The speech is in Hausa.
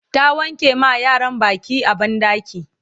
ta wanke ma yaran Baki a banɗaki